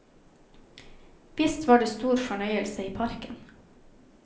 Visst var det stor fornøyelse i parken.